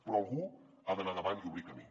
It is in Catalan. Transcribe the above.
però algú ha d’anar davant i obrir camí